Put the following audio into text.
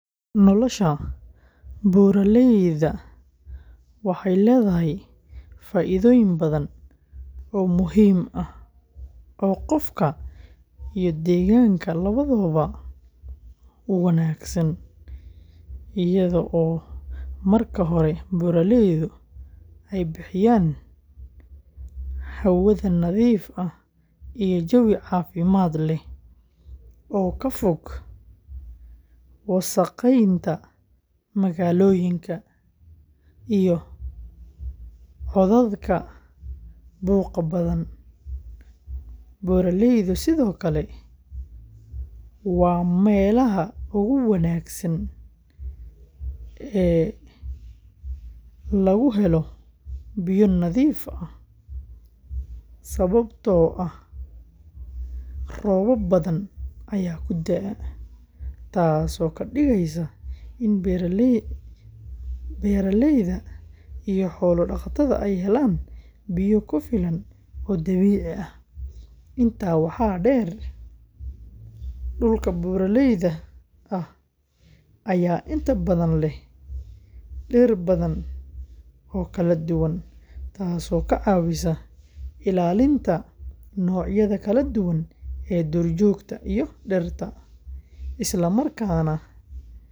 Nolosha buuraleyda waxay leedahay faa’iidooyin badan oo muhiim ah oo qofka iyo deegaanka labadaba u wanaagsan, iyadoo marka hore buuraleydu ay bixiyaan hawada nadiifta ah iyo jawi caafimaad leh oo ka fog wasakheynta magaalooyinka iyo codadka buuqa badan. Buuraleydu sidoo kale waa meelaha ugu wanaagsan ee lagu helo biyo nadiif ah, sababtoo ah roobab badan ayaa ku da’a, taasoo ka dhigaysa in beeraleyda iyo xoolo dhaqatada ay helaan biyo ku filan oo dabiici ah. Intaa waxaa dheer, dhulka buuraleyda ah ayaa inta badan leh dhir badan oo kala duwan, taasoo ka caawisa ilaalinta noocyada kala duwan ee duurjoogta iyo dhirta, isla markaana waxay kordhisaa fursadaha dhaqaale.